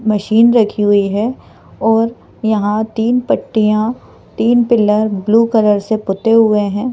Machine रखी हुई हैं और यहां तीन पत्तियां तीन पिलर ब्लू कलर से पुते हुए हैं।